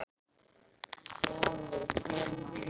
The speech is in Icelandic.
Egill: Að taka okkur af þessum lista?